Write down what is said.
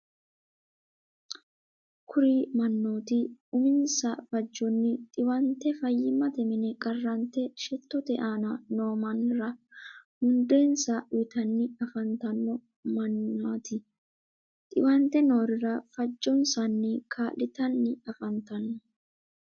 kuri mannoti uminsa fajjonni xiwante fayyimate mine qarrante shettote aana noo mannira mundeensa uyitanni afantanno mannati. xiwante noorira fajjonsanni kaa'litanni afantanno.